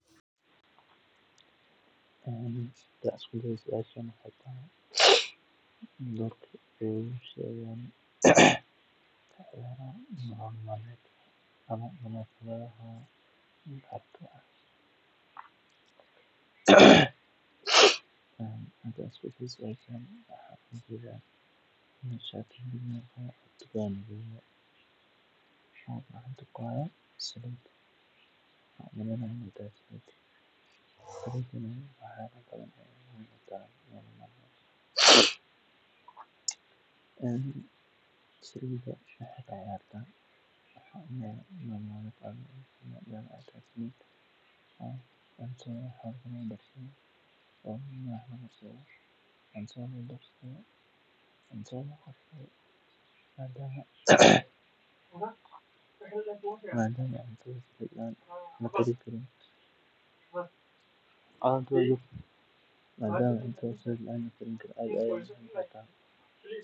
Hadaa isku dayo suashan dorkee kaciyaran meeel salid lagu gadhayo meshan sas ayan umaleynaya ee sithokale waxee ka ciyarta lacag aya laga hela salida cuntadha aya lagu karsadha cuntha aya lagudaraa madama cudhata bila salid lakarini karin.